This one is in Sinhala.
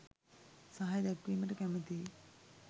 සහය දැක්වීමට කැමතියි.